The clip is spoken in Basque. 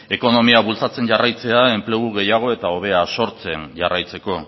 ekonomia bultzatzea jarraitzea enplegu gehiago eta hobea sortzen jarraitzeko